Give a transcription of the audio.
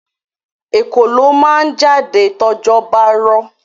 Ekòló ma jáde tójò bá rọ̀.